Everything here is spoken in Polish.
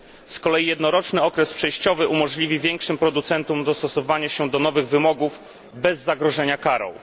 Z kolei jednoroczny okres przejściowy umożliwi większym producentom dostosowanie się do nowych wymogów bez zagrożenia karą.